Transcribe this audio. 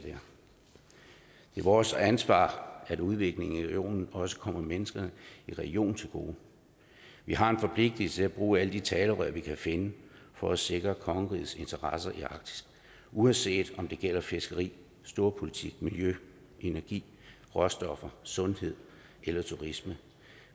vores ansvar at udviklingen i regionen også kommer mennesker i regionen til gode vi har en forpligtelse til at bruge alle de talerør vi kan finde for at sikre kongerigets interesser i arktis uanset om det gælder fiskeri storpolitik miljø energi råstoffer sundhed eller turisme